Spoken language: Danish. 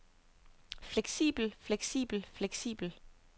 fleksibel fleksibel fleksibel